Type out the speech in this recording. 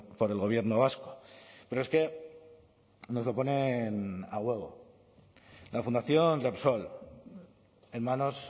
por el gobierno vasco pero es que nos lo ponen a huevo la fundación repsol en manos